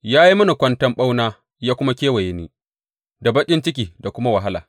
Ya yi mini kwanton ɓauna ya kuma kewaye ni da baƙin ciki da kuma wahala.